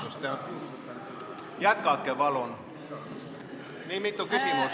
Hea küll, vabandust, jätkake palun!